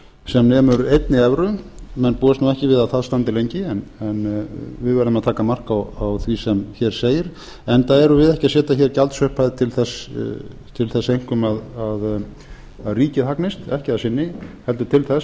sem nemur einni evru menn búast nú við að það standi lengi en við verðum að taka mark á því sem hér segir enda erum við ekki að setja hér gjaldsupphæð til þess einkum að ríkið hagnist ekki að sinni heldur til þess